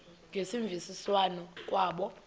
ngemvisiswano r kwabo